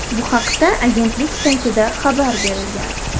Bu haqda agentlik saytida xabar berilgan .